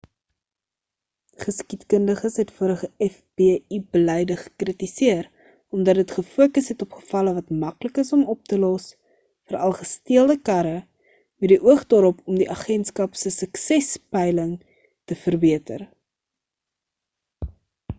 geskiedkundiges het vorige fbi beleide gekritiseer omdat dit gefokus het op gevalle wat maklik is om op te los veral gesteelde karre met die oog daarop om die agentskap se suksespeiling te verbeter